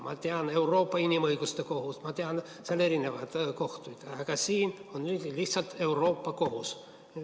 Ma tean Euroopa Inimõiguste Kohut, ma tean seal erinevaid kohtuid, aga siin on lihtsalt Euroopa Kohus.